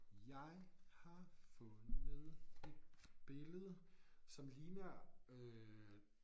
Jeg har fundet et billede som ligner øh